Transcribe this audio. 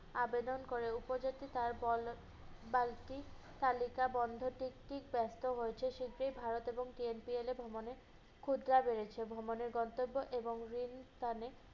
আবেদন করে। উপজাতি তার বল~ বালতি তালিকা বন্ধ টিকিটটি ব্যাপ্ত হয়েছে, সেটি ভারত এবং TNPA এ ভ্রমনে ক্ষুদ্রা বেড়েছে। ভ্রমণের গন্তব্য এবং রেল স্থানে